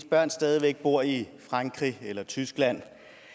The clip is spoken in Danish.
børn stadig væk bor i frankrig eller i tyskland